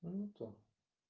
а не то